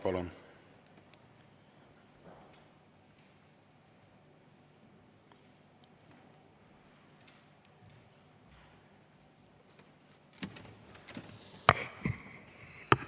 Palun!